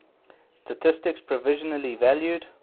statistics provisionally valued